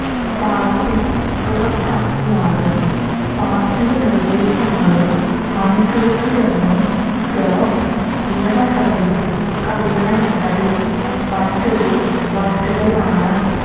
party പുറത്താക്കിയാലും party നിര്ദ്ദേശങ്ങള് അനുസരിച്ച് തന്നെ ജോര്ജ് നിയമസഭയില് കഴിയണമെന്നതും മറ്റൊരു വസ്തുതയാണ്